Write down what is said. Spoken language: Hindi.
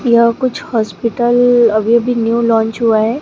यह कुछ हॉस्पिटल अभी अभी न्यू लॉन्च हुआ है।